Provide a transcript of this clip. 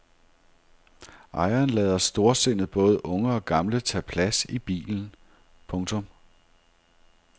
Ejeren lader storsindet både unge og gamle tage plads i bilen. punktum